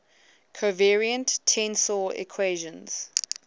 covariant tensor equations